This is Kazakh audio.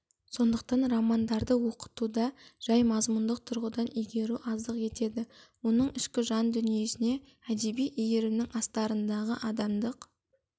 сондықтан романдарды оқытуда жай мазмұндық тұрғыдан игеру аздық етеді оның ішкі жан дүниесіне әдеби иірімнің астарындағы адамдық